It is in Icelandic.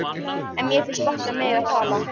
En mér finnst gott að mega tala.